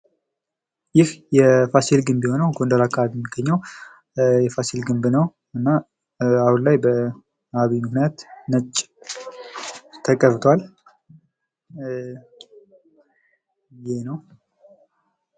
ይህ የፋሲል ግንብ የሆነው ጎንደር አካባቢ የሚገኘው የፋሲል ግንብ ነው። እና አሁን ላይ በአብይ ምክንያት ነጭ ተቀብቷል።